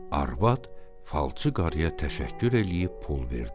Arvad falçı qarıya təşəkkür eləyib pul verdi.